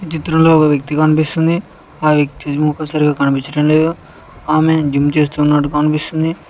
ఈ చిత్రం లో ఒక వ్యక్తి కనిపిస్తుంది వక్తి మొఖం సరిగ్గా కనిపించడం లేదు ఆమెను జిమ్ చేస్తున్నాడు కనిపిస్తుంది.